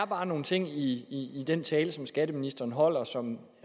bare nogle ting i den tale som skatteministeren holdt som